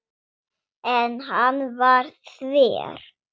En hann var þver.